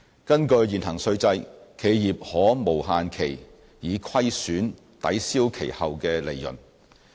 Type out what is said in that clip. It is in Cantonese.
根據現行稅制，企業可無限期以虧損抵銷其後利潤。